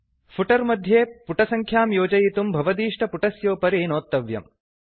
footer मध्ये पुटसङ्ख्यां योजयितुं भवदीष्टपुटस्योपरि नोत्तव्यम्